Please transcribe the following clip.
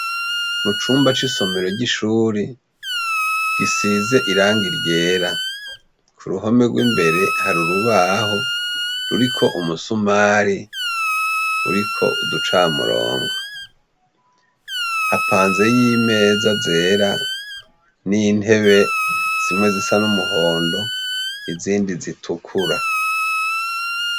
Mu cumba c'isomero ry'ishure gisize irangi ryera. Ku ruhome rw'imbere hari urubaho ruriko umusumari uriko uducamurongo. Hapanzeyo imeza zera n'intebe zimwe zisa n'umuhondo izindi zitukura.